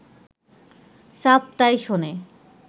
সাপ তাই শোনে